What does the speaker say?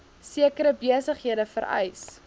sekere besighede vereis